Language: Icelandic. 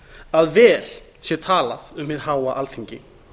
að vel sé talað um hið háa alþingi